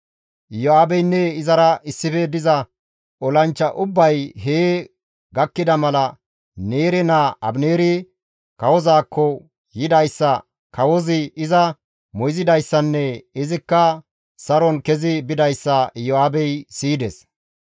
Iyo7aabeynne izara issife diza olanchcha ubbay hee gakkida mala Neere naa Abineeri kawozaakko yidayssa, kawozi iza moyzidayssanne izikka saron kezi bidayssa Iyo7aabey siyides.